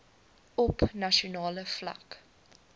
op nasionale vlak